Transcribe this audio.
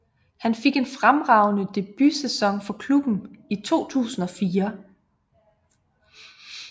Han fik en fremragende debutsæson for klubben i 2004